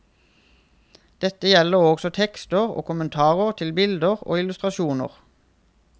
Dette gjelder også tekster og kommentarer til bilder og illustrasjoner.